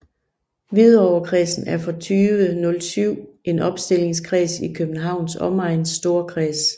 Hvidovrekredsen er fra 2007 en opstillingskreds i Københavns Omegns Storkreds